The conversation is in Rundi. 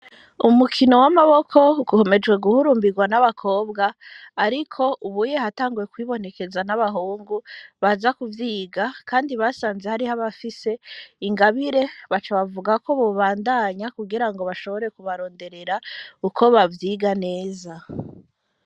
Umukino w'amaboko ukomeje guhurumbirwa n'abakobwa ariko ubunye hatanguye kwibonekeza n'abahungu baza ku vyiga kandi basanze hariho abafise ingabire baca bavugako bobandanya kugirango bashobore ku baronderera uko bavyiga neza.